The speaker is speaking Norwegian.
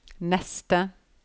neste